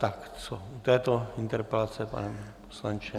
Tak co u této interpelace, pane poslanče?